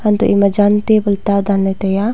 anteh ema jan table ta danley ngan taiya.